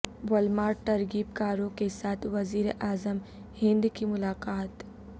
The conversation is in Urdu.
والمارٹ ترغیب کاروں کیساتھ وزیر اعظم ہند کی ملاقات